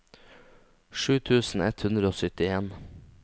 sju tusen ett hundre og syttien